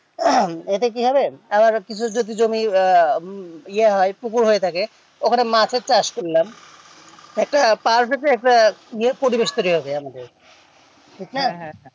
এতে কি হবে আমাদের কিছু হয়তো জমি আহ ইয়া হয় পুকুর হয়ে থাকে ওখানে মাছের চাষ করলাম কোটা ইয়ে পরিবেশ তৈরী হবে আমাদের ঠিক না?